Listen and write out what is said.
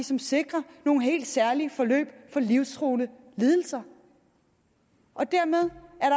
som sikrer nogle helt særlige forløb for livstruende lidelser dermed er